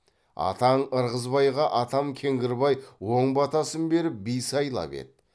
атаң ырғызбайға атам кеңгірбай оң батасын беріп би сайлап еді